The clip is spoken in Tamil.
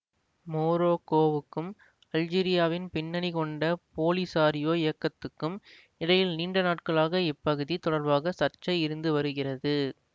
மோரோக்கோவுக்கும் அல்ஜீரியாவின் பின்னணி கொண்ட போலிசாரியோ இயக்கத்துக்கும் இடையில் நீண்ட நாட்களாக இப்பகுதி தொடர்பாக சர்ச்சை இருந்து வருகிறது